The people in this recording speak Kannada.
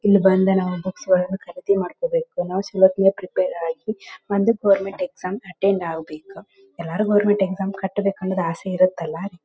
ಇಲ್ಲಿ ಬಂದು ನಾವು ಬುಕ್ಸ್ ಗಳನ್ನೂ ನಾವು ಖರೀದಿ ಮಾಡ್ಕೋಬೇಕು ನಾವು ಸ್ವಲ್ಪ ಪ್ರಿಪೇರ್ ಆಗಿ ಅಂದು ಗೊವೆರ್ನ್ಮೆಂಟ್ ಎಕ್ಸಾಮ್ ಅಟೆಂಡ್ ಆಗ್ಬೇಕು ಎಲ್ಲಾರು ಗೊವೆರ್ನ್ಮೆಂಟ್ ಎಕ್ಸಾಮ್ ಕಟ್ಟಬೇಕು ಅಂದ್ರೆ ಅಸೆ ಇರತಲ್ಲಾ .